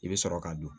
I bɛ sɔrɔ ka don